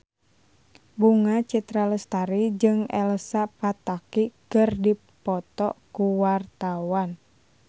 Bunga Citra Lestari jeung Elsa Pataky keur dipoto ku wartawan